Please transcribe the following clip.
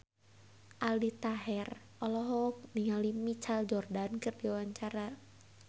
Aldi Taher olohok ningali Michael Jordan keur diwawancara